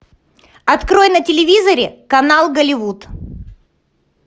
открой на телевизоре канал голливуд